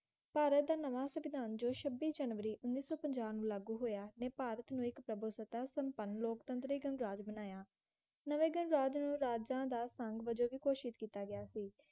ਭਾਰਤ ਦਾ ਨਵਾਂ ਸਵਿਧਾਨ ਜੋ ਛਬਿ ਜਨਵਰੀ ਊਣੀ ਸੋ ਪੰਜਾ ਨੂੰ ਲਾਗੂ ਹੋਇਆ ਨੇ ਭਾਰਤ ਨੂੰ ਇੱਕ ਪ੍ਰਭਸਤਾ ਸੰਪਰਣ ਲੋਕਤੰਤਰਿਕ ਰਾਜ ਬਨਾਯਾ ਨਵੇਂ ਗਣਰਾਜ ਨੂੰ ਰਾਜਾ ਦਾ ਸੰਗ ਵਜੋਂ ਵੀ ਘੋਸ਼ਿਤ ਕੀਤਾ ਗਿਆ ਸੀ